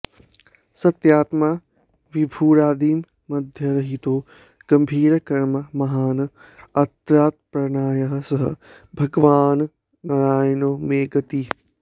सत्यात्मा विभुरादिमध्यरहितो गम्भीरकर्मा महान् आर्तत्राणपरायणः स भगवान्नारायणो मे गतिः